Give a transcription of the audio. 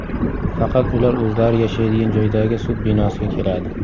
Faqat ular o‘zlari yashaydigan joydagi sud binosiga keladi.